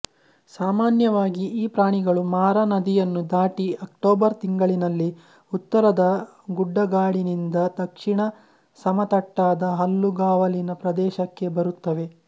ಸಾಮಾನ್ಯವಾಗಿ ಈ ಪ್ರಾಣಿಗಳು ಮಾರಾನದಿಯನ್ನು ದಾಟಿ ಅಕ್ಟೋಬರ್ ತಿಂಗಳಿನಲ್ಲಿ ಉತ್ತರದ ಗುಡ್ಡಗಾಡಿನಿಂದ ದಕ್ಷಿಣದ ಸಮತಟ್ಟಾದ ಹುಲ್ಲುಗಾವಲಿನ ಪ್ರದೇಶಕ್ಕೆ ಬರುತ್ತವೆ